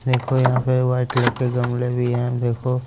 देखो यहां पे व्हाइट कलर के गमले भी हैं देखो--